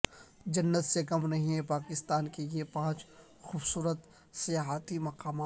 جنت سے کم نہیں ہیں پاکستان کے یہ پانچ خوبصورت سیاحتی مقامات